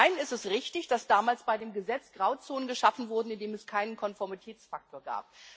Zum einen ist es richtig, dass damals bei dem Gesetz Grauzonen geschaffen wurden, indem es keinen Konformitätsfaktor gab.